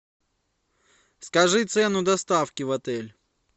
скажи цену доставки в отель